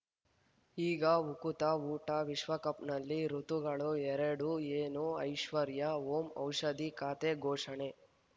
ಈಗ ಉಕುತ ಊಟ ವಿಶ್ವಕಪ್‌ನಲ್ಲಿ ಋತುಗಳು ಎರಡು ಏನು ಐಶ್ವರ್ಯಾ ಓಂ ಔಷಧಿ ಖಾತೆ ಘೋಷಣೆ